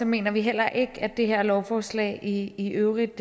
mener vi heller ikke at det her forslag i øvrigt